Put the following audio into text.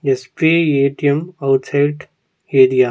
SBI ATM outside area .